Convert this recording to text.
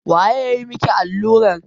Waye ya yi maki allurar?